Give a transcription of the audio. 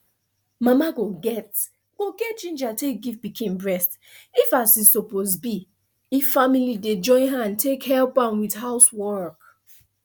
mama go get go get ginja take give pikin breast if as e suppose be if family dey join hand take help am with housework